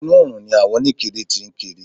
Inú oòrùn ni àwọn oníkiri tí ń kiri.